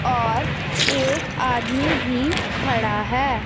और एक आदमी भी खड़ा है।